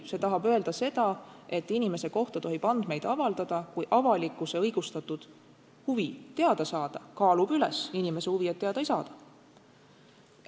See tahab öelda seda, et inimese kohta tohib andmeid avaldada, kui avalikkuse õigustatud huvi teada saada kaalub üles inimese huvi, et teada ei saada.